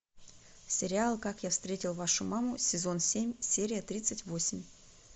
сериал как я встретил вашу маму сезон семь серия тридцать восемь